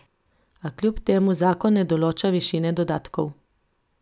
A kljub temu zakon ne določa višine dodatkov.